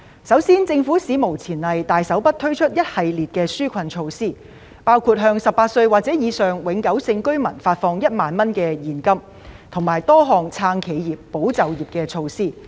首先，政府史無前例地大手筆推出一系列紓困措施，包括向18歲或以上永久性居民發放1萬元現金，以及多項"撐企業，保就業"措施。